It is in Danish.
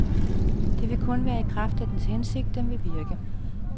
Det vil kun være i kraft af dens hensigt, den vil virke.